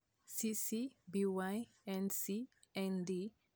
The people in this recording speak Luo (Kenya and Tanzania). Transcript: CC BY-NC-ND 2.0 Mano ok nyalre.